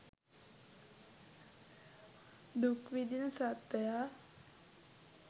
දුක් විඳින සත්ත්වයා